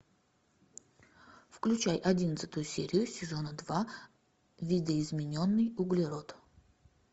включай одиннадцатую серию сезона два видоизмененный углерод